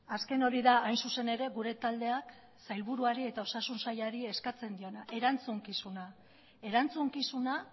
azken hori da hain zuzen ere gure taldeak sailburuari eta osasun sailari eskatzen diona erantzukizuna erantzukizuna